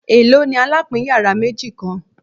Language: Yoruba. Elo ni alapin yara meji kan